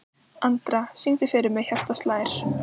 Andra, syngdu fyrir mig „Hjartað slær“.